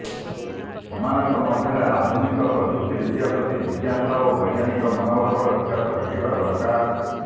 ସେମାନଙ୍କ ମଧ୍ୟରେ ଆଧୁନିକ ପ୍ରଯୁକ୍ତି ବିଦ୍ୟା ପ୍ରତି ଜିଜ୍ଞାସା ଓ ବୈଜ୍ଞାନିକ ମନୋଭାବର ବିକାଶ ଘଟିବା ଦରକାର